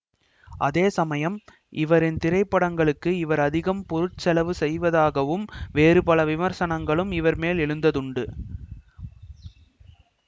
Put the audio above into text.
அதேசமயம் இவரின் திரைப்பட்ங்களுக்கு இவர் அதிகம் பொருட்செலவு செய்வதாகவும் வேறு பல விமர்சனங்களும் இவர் மேல் எழுந்ததுண்டு